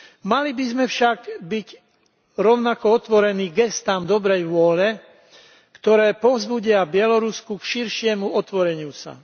Mali by sme však byť rovnako otvorení gestám dobrej vôle, ktoré povzbudia Bielorusko k širšiemu otvoreniu sa.